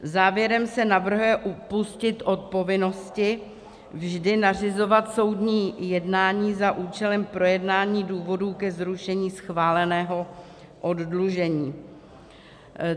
Závěrem se navrhuje upustit od povinnosti vždy nařizovat soudní jednání za účelem projednání důvodů ke zrušení schváleného oddlužení.